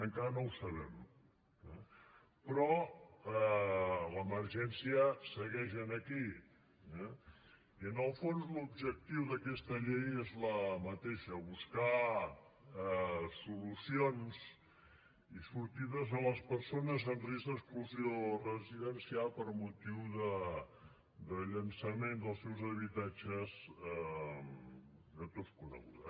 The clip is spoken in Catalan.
encara no ho sabem eh però l’emergència segueix aquí eh i en el fons l’objectiu d’aquesta llei és el mateix buscar solucions i sortides a les persones en risc d’exclusió residencial per motiu de llançament dels seus habitatges de tots coneguda